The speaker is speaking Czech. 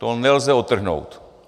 To nelze odtrhnout.